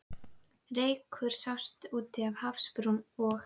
Reykur sást úti við hafsbrún, og